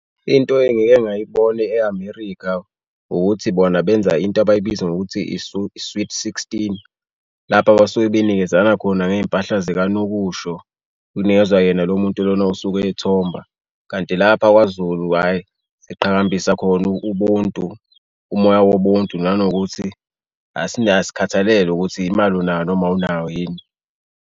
Into engike ngayibona e-America ukuthi bona benza into abayibiza ngokuthi sweet sixteen, lapha basuke benikezana khona ngezimpahla zikanokusho, kunikezwa yena lo muntu lona osuke ethomba. Kanti lapho kwaZulu hhayi, siqhakambisa khona ubuntu, umoya wobuntu nanokuthi asinayo, asikhathalele ukuthi imali unayo noma awunayo yini.